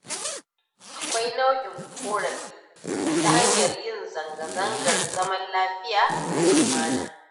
Akwai nau'in ƙorafi ta hanyar yin zanga-zangar zaman lafiya da lumana.